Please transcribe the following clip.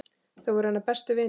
Þau voru hennar bestu vinir.